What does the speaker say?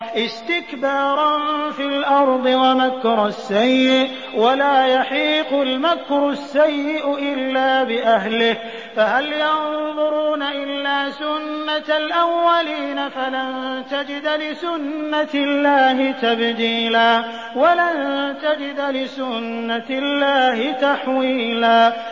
اسْتِكْبَارًا فِي الْأَرْضِ وَمَكْرَ السَّيِّئِ ۚ وَلَا يَحِيقُ الْمَكْرُ السَّيِّئُ إِلَّا بِأَهْلِهِ ۚ فَهَلْ يَنظُرُونَ إِلَّا سُنَّتَ الْأَوَّلِينَ ۚ فَلَن تَجِدَ لِسُنَّتِ اللَّهِ تَبْدِيلًا ۖ وَلَن تَجِدَ لِسُنَّتِ اللَّهِ تَحْوِيلًا